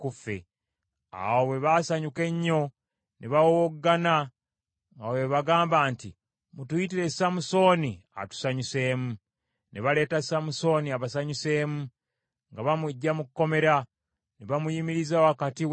Awo bwe baasanyuka ennyo, ne bawowoggana nga bwe bagamba nti, “Mutuyitire Samusooni atusanyuseemu.” Ne baleeta Samusooni abasanyuseemu, nga bamuggya mu kkomera. Ne bamuyimiriza wakati w’empagi.